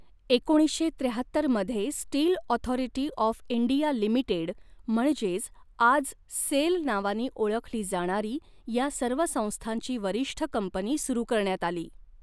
एकोणीसशे त्र्याहत्तर मध्ये steel authority of India limited म्हणजेच आज सेल नावाने ओळखली जाणारी या सर्व संस्थांची वरिष्ठ कंपनी सुरू करण्यात आली.